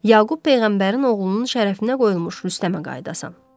Yaqub peyğəmbərin oğlunun şərəfinə qoyulmuş Rüstəmə qayıdasan.